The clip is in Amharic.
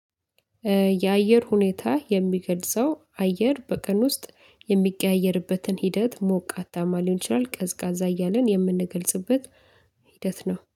የአየር ሁኔታ የሚገልጸው አየር በቀን ውስጥ የሚቀያየርበትን ሂደት ሞቃታማ ሊሆን ይችላል ቀዝቃዛ እያለን የምንገልጽበት ሂደት ነው።